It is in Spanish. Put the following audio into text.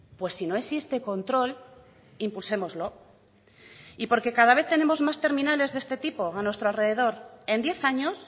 pues si no existe control impulsémoslo y porque cada vez tenemos más terminales de este tipo a nuestro alrededor en diez años